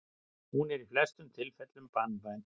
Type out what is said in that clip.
Hún er í flestum tilfellum banvæn.